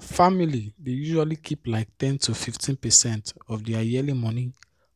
families dey usually keep like ten to 15 percent of their yearly moni